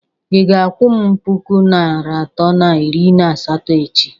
Ị ga-akwụ m puku naịra atọ na iri na asatọ echi?